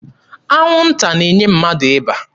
Anwụnta na-enye mmadụ ịba.